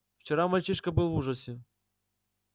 вчера мальчишка был в ужасе